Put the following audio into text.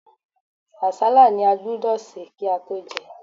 Àsálà ni a gbúdọ̀ sè kí á tó jẹ.